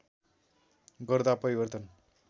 गर्दा परिवर्तन